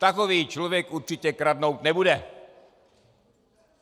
Takový člověk určitě kradnout nebude.